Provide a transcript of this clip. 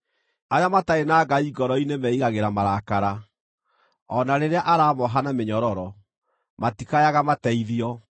“Arĩa matarĩ na Ngai ngoro-inĩ meiigagĩra marakara; o na rĩrĩa aramooha na mĩnyororo, matikayaga mateithio.